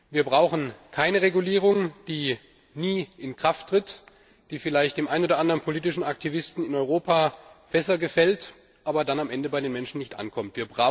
Wir brauchen keine Regulierung, die nie in Kraft tritt, die vielleicht dem einen oder anderen politischen Aktivisten in Europa besser gefällt, aber dann am Ende bei den Menschen nicht ankommt.